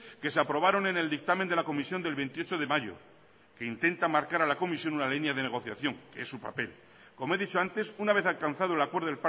que se aprobaron en el dictamen de la comisión del veintiocho de mayo que intenta marcar a la comisión una línea de negociación que es su papel como he dicho antes una vez alcanzado el acuerdo